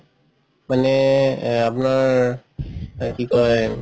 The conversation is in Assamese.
মানে আপোনাৰ কি কই আ